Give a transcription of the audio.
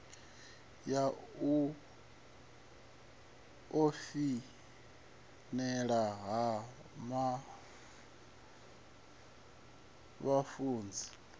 ya u foinela ha vhafunzi